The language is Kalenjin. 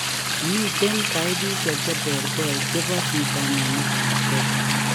Miten taipisiek cheterter chebo vitaminik ab k